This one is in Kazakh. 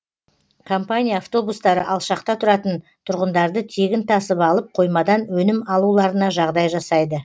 компания автобустары алшақта тұратын тұрғындарды тегін тасып алып қоймадан өнім алуларына жағдай жасайды